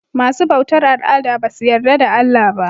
Masu bautar al'ada basu yarda da Allah ba.